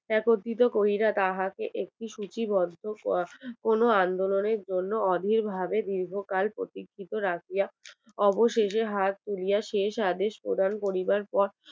একত্রিত করিয়া তাহা কে একটি স্মৃতি বদ্ধ করা কোনো আন্দোলনের জন্য অধীর ভাবে দীর্ঘ কাল প্রতীক্ষিত রাখিয়া অবশেষে হাত তুলিয়া শেষ আদেশ প্রদান করিবার পর